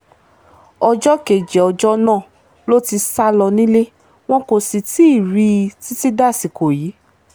ọjọ́ kejì ọjọ́ náà ló ti sá lọ nílé wọn kò sì tí ì rí i i títí dàsìkò yìí